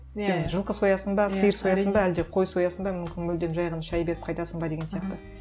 сен жылқы соясың ба сиыр соясың ба әлде қой соясың ба мүмкін мүлдем жай ғана шай беріп қайтасың ба деген сияқты